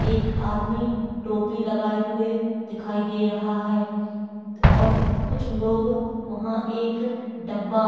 एक आदमी टोपी लगाए हुए दिखाई दे रहा है और कुछ लोग वहां एक डब्बा --